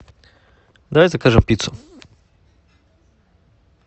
давай закажем пиццу